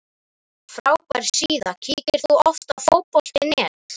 frábær síða Kíkir þú oft á Fótbolti.net?